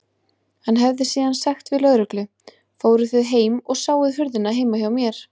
Hann hefði síðan sagt við lögreglu: Fóruð þið heim og sáuð hurðina heima hjá mér?